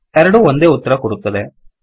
ಎರಡೂ ಒಂದೇ ಉತ್ತರ ಕೊಡುತ್ತದೆ